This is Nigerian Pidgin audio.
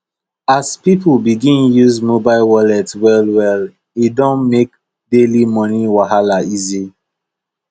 as people begin use mobile wallet wellwell e don make daily money wahala easy